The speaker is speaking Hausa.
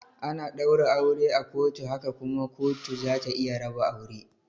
Ana daura aure a kotu haka kuma kotu zata iya raba aure.